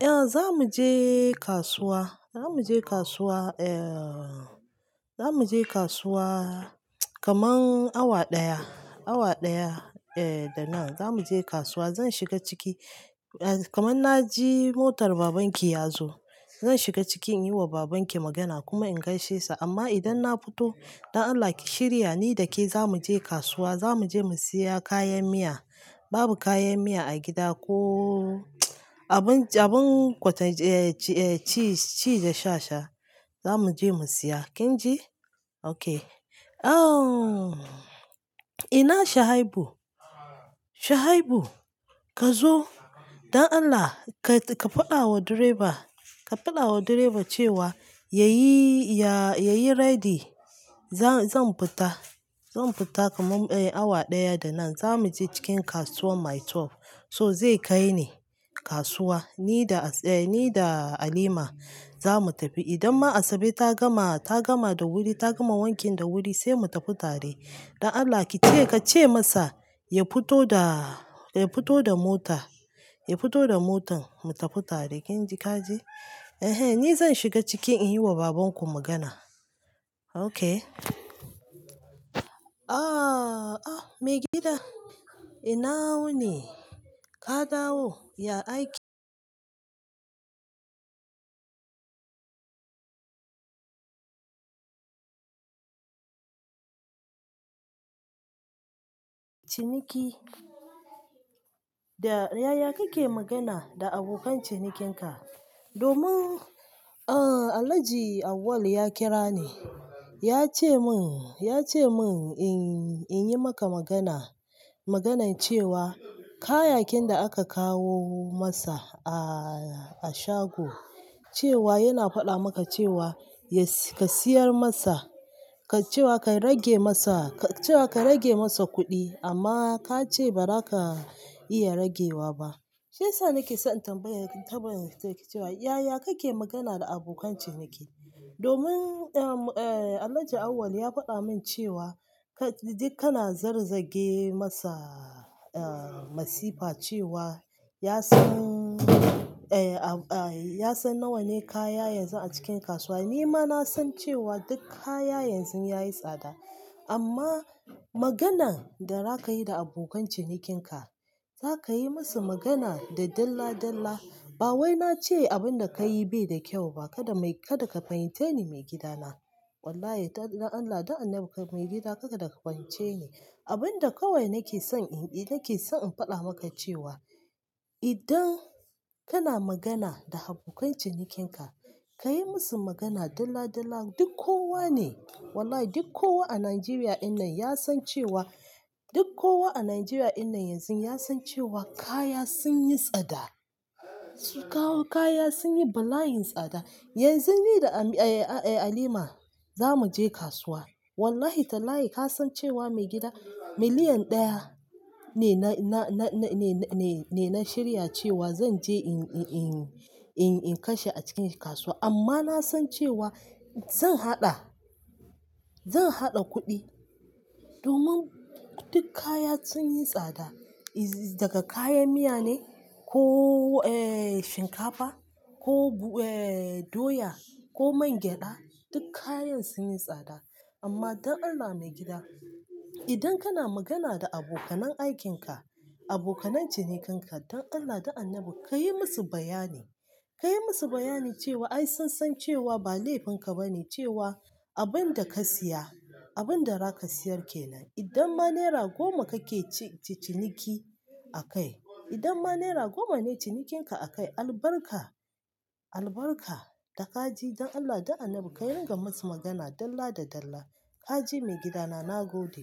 Eh, za mu je kasuwa. Za mu je kasuwa, eh. Za mu je kasuwa kaman awa ɗaya, awa ɗaya, eh, da nan. Za mu je kasuwa. Zan shiga ciki, eh, kaman na ji motar babanki ya zo. Zan shiga cikin yi wa babanki magana kuma in gaishe sa. Amma idan na fito, don Allah ki shirya ni da ke za mu je kasuwa. Za mu je mu siya kayan miya. Babu kayan miya a gida ko abun, abun kwata, eh, ci, ci da sha sha. Za mu je mu siya. Kin ji? Okay. Oh, ina Shahibu. Shahibu ka zo. Don Allah ka, ka faɗa wa direba, ka faɗa wa direba cewa yayi, ya, yayi ready. Zan, zan fita. Zan fita kaman, eh, awa ɗaya da nan. Za mu je cikin kasuwar Maitwef. So zai kai ni kasuwa, ni da As-- eh, ni da Halima za mu tafi. Idanma Asabe ta gama, ta gama da wuri, ta gama wankin da wuri sai mu tafi tare. Don Allah ki ce, ka ce masa ya fito da, ya fito da mota, ya fito da motan mu tafi tare. Kin ji ka ji? Ehen, ni zan shiga cikin in yi wa babanku magana. Okay. Ah, ah, mai gida, ina wuni. Ka dawo, ya aiki ciniki. Da, yaya kake magana da abokan cinikinka? Domin, ahn, Alhaji Auwalu ya kira ni. Ya ce mun, ya ce mun in, in yi maka magana. Maganar cewa kayakin da aka kawo masa a, a shago, cewa yana faɗa maka cewa ya si-- ka siyar masa, ka cewa ka rage masa, ka cewa ka rage masa kuɗi amma ka ce ba za ka iya ragewa ba. Shiyasa nake son in tambaye ki, tambaye ki cewa yaya kake magana da abokan ciniki? Domin, eh, Alhaji Auwal ya faɗa min cewa ka, duk kana zargi masa, ah, masifa cewa ya san, eh, a, ya san nawa ne kaya yanzu a cikin kasuwa. Ni ma na san cewa duk kaya yanzu yayi tsada. Amma maganan da za ka yi da abokan cinikinka, za ka yi musu magana da dalla dalla. Ba wai na ce abin da ka yi bai da kyau ba. Kada mai, kada ka fahimceni mai gida na. Wallahi, don Allah, don annabi mai gida kada ka fahimce ni. Abin da kawai nake son in, nake son in faɗa maka cewa idan kana magana da abokan cinikinka, ka yi musu magana dalla dalla. Duk kowa ne, wallahi duk kowa a Najeriya ɗin nan ya san cewa, duk kowa a Najeriya ɗin nan yanzu ya san cewa kaya sun yi tsada. Sun kawo kaya sun yi bala'in tsada. Yanzu ni da Ami-- eh, Alima za mu je kasuwa. Wallahi tallahi ka san cewa mai gida miliyan ɗaya ne na, na, na, na, ne, ne, ne, na shirya cewa zan je in, in, in, in, in kashe a cikin kasuwa. Amma na san cewa zan haɗa, zan haɗa kuɗi domin duk kaya sun yi tsada. Iz-- daga kayan miya ne ko, eh, shinkafa ko, eh, doya ko man gyaɗa, duk kayan sun yi tsada. Amma don Allah mai gida, idan kana magana da abokanan aikin ka, abokanan cinikinka, don Allah, don annabi ka yi musu bayani. Ka yi musu bayani cewa ai sun san cewa ba laifin ka ba ne cewa abin da ka siya, abin da za ka siyar ke nan. Idanma naira goma kake ci-ciniki akai, idanma naira goma ne cinikinka akai albarka, albarka da ka ji don Allah, don annabi ka yi gama musu magana dalla da dalla. Ka ji mai gida na, na gode.